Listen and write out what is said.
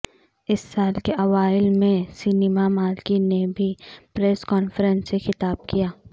اس سال کے اوائل میں سنیما مالکان نے بھی پریس کانفرنس سے خطاب کیا